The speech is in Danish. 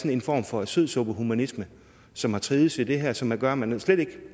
er en form for sødsuppehumanisme som har trivedes i det her og som gør at man slet ikke